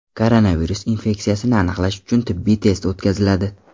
Koronavirus infeksiyasini aniqlash uchun tibbiy test o‘tkaziladi.